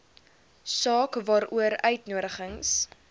saak waaroor uitnodigings